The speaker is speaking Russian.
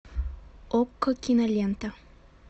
окко кинолента